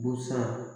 Busan